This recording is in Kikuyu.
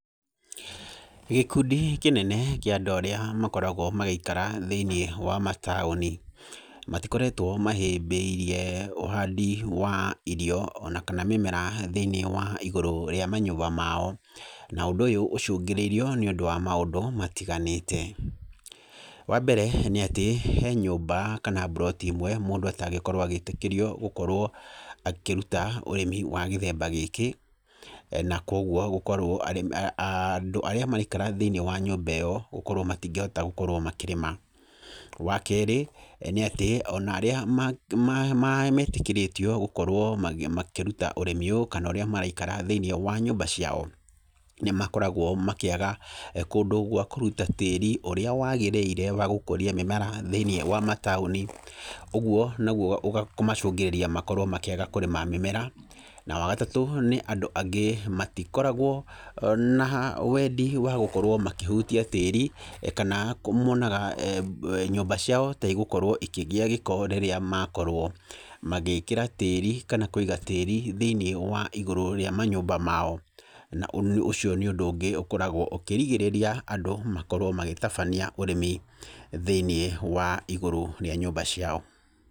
Gĩkundi kĩnene kĩa andũ arĩa makoragwo magĩikara thĩiniĩ wa mataũni, matikoretwo mahĩmbĩirie ũhandi wa irio ona kana mĩmera thĩiniĩ wa igũrũ rĩa manyũmba mao, na ũndũ ũyũ ũcũngĩrĩirio nĩ ũndũ wa maũndũ matiganĩte. Wa mbere nĩ atĩ, he nyũmba kana mburoti ĩmwe mũndũ atangĩkorwo agĩtĩkĩrio gũkorwo akĩruta ũrĩmi wa gĩthemba gĩkĩ, na koguo gũkorwo arĩmi, andũ arĩa maraikara thĩiniĩ wa nyũmba ĩyo gũkorwo matingĩhota gũkorwo makĩrĩma. Wa kerĩ nĩ atĩ onarĩa maĩtĩkĩrĩtio gũkorwo magĩ, makĩruta ũrĩmi ũyũ kana ũrĩa maraikara thĩiniĩ wa nyũmba ciao, nĩ makoragwo makĩaga kũndũ gwa kũruta tĩĩri ũrĩa wagĩrĩire wa gũkuria mĩmera thĩiniĩ wa mataũni, ũgwo nagwo ũga, kũmacũngĩrĩria makorwo makĩaga kũrĩma mĩmera. Na wa gatatũ nĩ andũ angĩ matikoragwo na wendi wa gũkorwo makĩhutia tĩri kana monaga nyũmba ciao ta igũkorwo ikĩgĩa gĩko rĩrĩa makorwo magĩkĩra tĩri kana kũiga tĩri thĩiniĩ wa igũrũ rĩa manyũmba mao. Na ũcio nĩ ũndũ ũngĩ ũkoragwo ũkĩrigĩrĩria andũ makorwo magĩtabania ũrĩmi thĩiniĩ wa igũrũ rĩa nyũmba ciao.